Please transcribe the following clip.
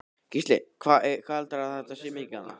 Gísli: Hvað heldurðu að þetta sé mikið þarna?